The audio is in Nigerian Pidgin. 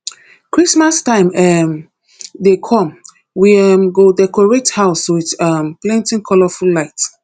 christmas time um dey come we um go decorate house with um plenty colorful lights